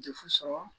Defu sɔrɔ